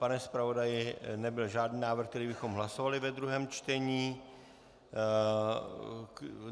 Pane zpravodaji, nebyl žádný návrh, který bychom hlasovali ve druhém čtení?